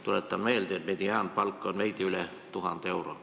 Tuletan meelde, et mediaanpalk on veidi üle 1000 euro.